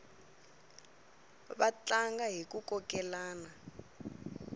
va tlanga hiku kokelana